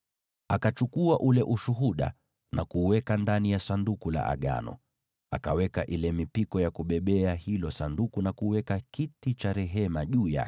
Akachukua ule Ushuhuda na kuuweka ndani ya Sanduku la Agano, akaweka ile mipiko ya kubebea hilo Sanduku na kuweka kiti cha rehema juu yake.